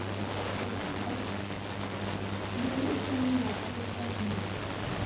себе попить и покушать вернусь там не знаю через пять минут